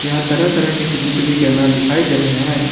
यहां तरह तरह के सी_सी_टी_वी कैमरा दिखाई दे रहे है।